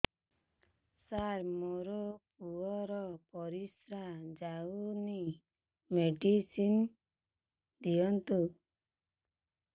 ସାର ମୋର ପୁଅର ପରିସ୍ରା ଯାଉନି ମେଡିସିନ ଦିଅନ୍ତୁ